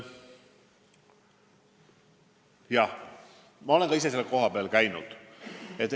Jah, ma olen ka ise seal kohapeal käinud.